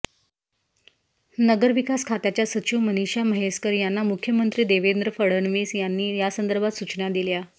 नगरविकास खात्याच्या सचिव मनिषा म्हैसकर यांना मुख्यमंत्री देवेंद्र फडणवीस यांनी यासंदर्भात सुचना दिल्या